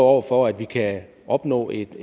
over for at vi kan opnå et